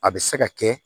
A bɛ se ka kɛ